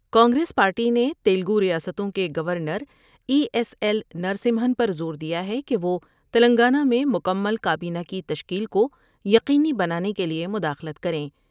Congress party نے تیلگوریاستوں کے گونرای ایس ایل نرسمہن پر زور دیا ہے کہ وہ تلنگانہ میں مکمل کابینہ کی تشکیل کو یقینی بنانے کے لیے مداخلت کر یں ۔